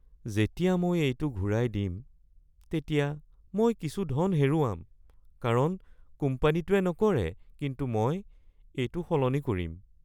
যেতিয়া মই এইটো ঘূৰাই দিম তেতিয়া মই কিছু ধন হেৰুৱাম কাৰণ কোম্পানীটোৱে নকৰে, কিন্তু মই এইটো সলনি কৰিম৷